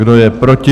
Kdo je proti?